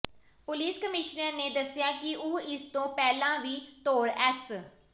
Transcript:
police commissioner ਨੇ ਦੱਸਿਆ ਕਿ ਉਹ ਇਸ ਤੋਂ ਪਹਿਲਾਂ ਵੀ ਤੌਰ ਐਸ